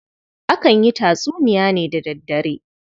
Akan yi tatsuniya ne da daddare.